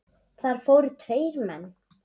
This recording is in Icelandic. Þar fórust tveir menn.